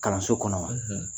Kalanso kɔnɔ wa.